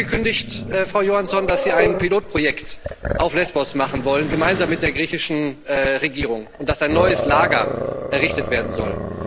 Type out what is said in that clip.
Sie haben angekündigt, Frau Johansson, dass Sie ein Pilotprojekt auf Lesbos machen wollen gemeinsam mit der griechischen Regierung und dass ein neues Lager errichtet werden soll.